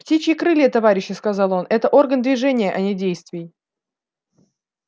птичьи крылья товарищи сказал он это орган движения а не действий